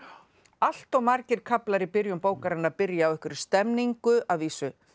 allt of margir kaflar í byrjun bókarinnar byrja á einhverri stemningu að vísu